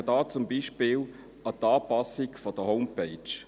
Ich denke dabei zum Beispiel an die Anpassung der Homepage.